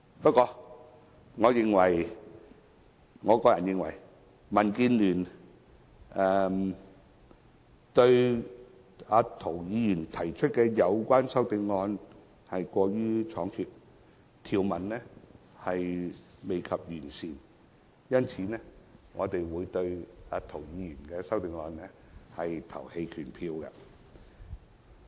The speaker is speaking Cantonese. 不過，我個人認為涂議員提出有關修正案過於倉卒，條文尚未完善，因此，我和民建聯會對涂議員的修正案投棄權票。